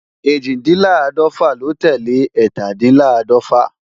Ẹ́jìndínláàdọ́fà ló tẹ́lẹ̀ ẹ́tàdínláàdọ̀fà